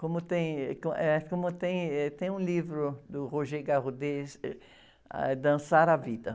Como tem, eh, como tem, eh, tem um livro do, êh, ah, é Dançar a Vida.